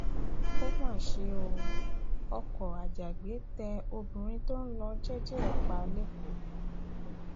ó mà ṣe o ọkọ ajàgbẹ tẹ obìnrin tó ń lọ jẹẹjẹ ẹ pa lẹkọọ